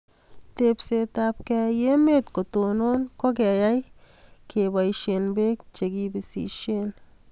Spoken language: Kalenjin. Tepset ab keyai emet kotonon ko keyai kebaishe peek chekipisishei